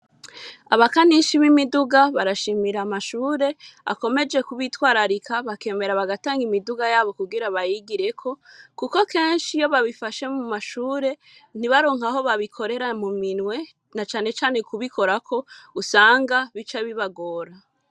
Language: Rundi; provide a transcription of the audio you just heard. Abakanishi b'imiduga barashimira amashure, akomeje kubitwararika bakemera bagatanga imiduga yabo kugira bayigireko, kuko kenshi iyo babifashe mu mashure, ntibaronke aho babikorera mu minwe, na cane cane kubikorako, usanga bica bibagora.